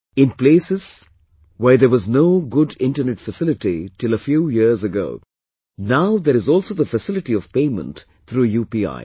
In places where there was no good internet facility till a few years ago, now there is also the facility of payment through UPI